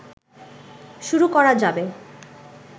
শুরু করা যাবে